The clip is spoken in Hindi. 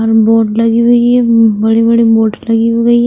बोर्ड लगी हुई है बड़ी बड़ी बोर्ड लगी हुई है।